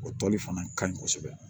O tɔli fana ka ɲin kosɛbɛ